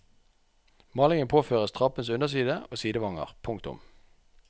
Malingen påføres trappens underside og sidevanger. punktum